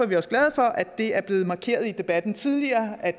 vi også glade for at det er blevet markeret i debatten tidligere at